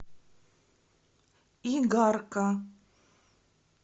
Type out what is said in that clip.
игарка